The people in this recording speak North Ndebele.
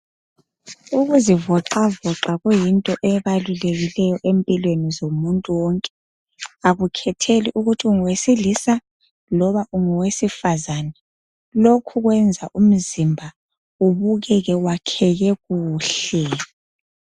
Ukuzivoxavoxa kuyinto ebalulekileyo empilweni zomuntu wonke akukhetheli ukuthi ungowesilisa loba unguwesifazana lokhu kwenza umzimba ubukeke wakheka kuhle.